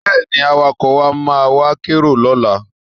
Bẹ́ẹ̀ni, Awakọ̀ wa máa wá kérò lọ́la